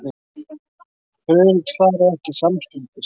Friðrik svaraði ekki samstundis.